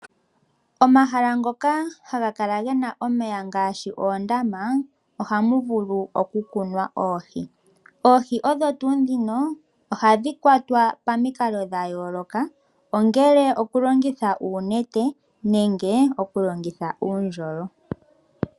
Omahala ngoka haga kala gena omeya ngaashi oondama ohamu vulu okukunwa oohi. Oohi odho tuu ndhono ohadhi kwatwa pamikalo dhayooloka ongele okulongitha uunete nenge okulongitha uundjolo.